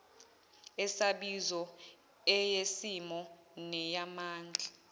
esabizo eyesimo neyamandla